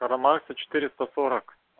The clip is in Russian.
карла маркса четыреста сорок